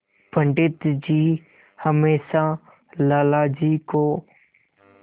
पंडित जी हमेशा लाला जी को